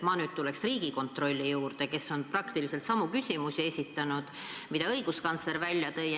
Mina tulen nüüd Riigikontrolli juurde, kes on praktiliselt esitanud samu küsimusi, mis õiguskantsler välja tõi.